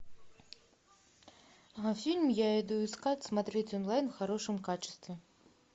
фильм я иду искать смотреть онлайн в хорошем качестве